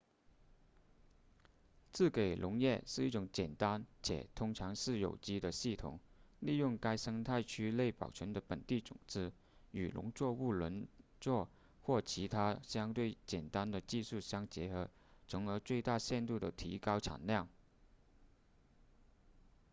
自给农业是一种简单且通常是有机的系统利用该生态区内保存的本地种子与农作物轮作或其他相对简单的技术相结合从而最大限度地提高产量